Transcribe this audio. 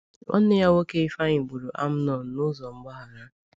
Nwanne ya nwoke Ifeanyi gburu Amnon n’ụzọ mgbaghara.